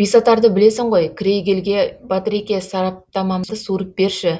бесатарды білесің ғой крейгельге батыреке сараптамамды суырып жіберші